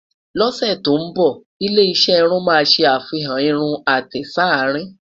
ló ṣé tó nbọ, ilé iṣé irún má sé àfihàn irún àtẹ s'arin